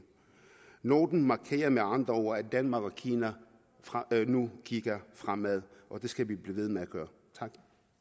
noten markerer med andre ord at danmark og kina nu kigger fremad og det skal vi blive ved med at gøre tak